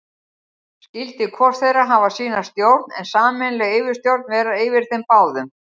Skyldi hvor þeirra hafa sína stjórn, en sameiginleg yfirstjórn vera yfir þeim báðum.